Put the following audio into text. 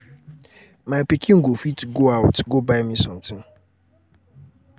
my pikin go fit go out go buy me something.